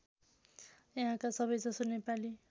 यहाँका सबैजसो नेपाली